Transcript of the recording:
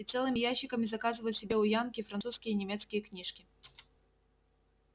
и целыми ящиками заказывают себе у янки французские и немецкие книжки